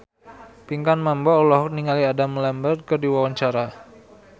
Pinkan Mambo olohok ningali Adam Lambert keur diwawancara